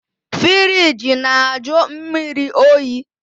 Firigi na-ajụ mmiri oyi